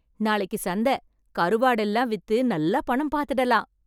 நாளைக்கு சந்தை , கருவாடு எல்லாம் வித்து நல்லா பணம் பார்த்துடலாம்.